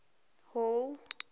hall